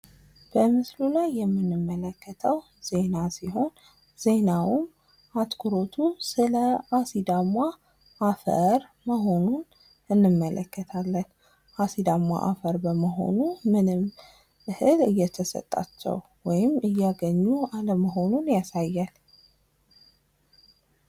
በምስሉ ላይ የምንመለከተው ዜና ሲሆን ዜናውም አትኩሮቱ ስለ አሲዳማ አፈር መሆኑን እንመለከታለን። አሲዳማ አፈር በመሆኑ ምንም እህል እየተሰጣቸው ወይም እያገኙ አለመሆኑን ያሳያል።